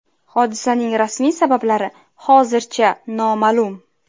Hodisaning rasmiy sabablari hozircha noma’lum.